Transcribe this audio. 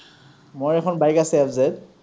মোৰ এখন bike আছে FZ ।